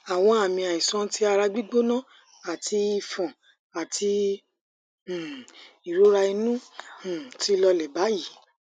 awon ami aisan ti ara gbigbona ati ifon ati um irora inu um ti lole bayi